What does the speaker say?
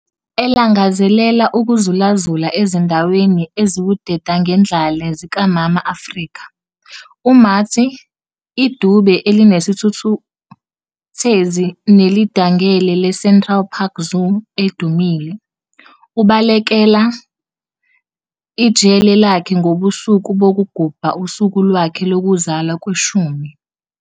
Elangazelela ukuzulazula ezindaweni eziwudedangendlale zikaMama Afrika, uMarty, idube elinesithukuthezi nelidangele leCentral Park Zoo edumile, ubalekela ijele lakhe ngobusuku bokugubha usuku lwakhe lokuzalwa lweshumi.